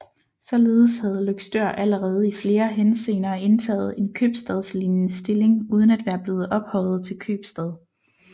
Således havde Løgstør allerede i flere henseender indtaget en købstadslignende stilling uden at være blevet ophøjet til købstad